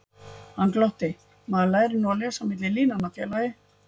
Hann glotti: Maður lærir nú að lesa á milli línanna, félagi